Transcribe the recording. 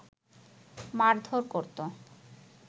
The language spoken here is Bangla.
মারধর করতো